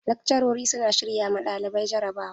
Lakcarori suna shirya ma ɗalibai jarabawa.